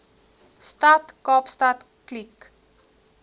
stad kaapstad kliek